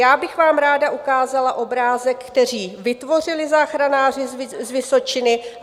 Já bych vám ráda ukázala obrázek, který vytvořili záchranáři z Vysočiny.